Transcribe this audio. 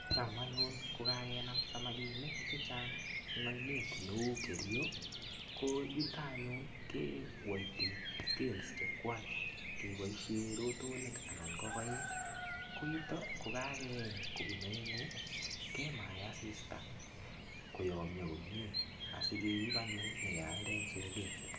Cham anyun ko kakenam samakinik chechang eng oinet neu Kerioko yuton any anyun keweiti scales chechwak keboishen rotonik anan ko koiik, koyuton ko kakeeny kobun oengu kemae asista koyomnyo kokmnye asikeib anyun anyaelde en soket.